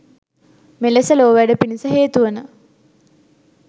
මෙලෙස ලෝවැඩ පිණිස හේතු වන